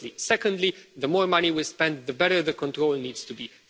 Secondly, the more money we spend, the better the control needs to be.